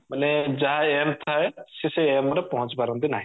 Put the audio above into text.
ବୋଇଲେ ଯାହା aim ଥାଏ ସେ ସେଇ aim ରେ ପହଞ୍ଚି ପାରନ୍ତି ନାହିଁ